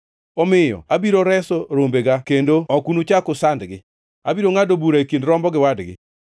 omiyo abiro reso rombega kendo ok unuchak usandgi. Abiro ngʼado bura e kind rombo gi wadgi.